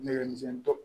Nɛgɛ misɛnnin dɔ